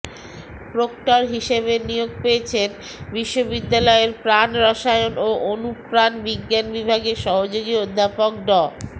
proctor হিসেবে নিয়োগ পেয়েছেন বিশ্ববিদ্যালয়ের প্রাণরসায়ন ও অনুপ্রাণ বিজ্ঞান বিভাগের সহযোগী অধ্যাপক ড